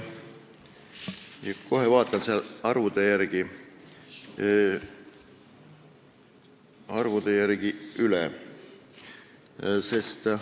Kohe vaatan arvud üle.